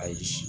Ayi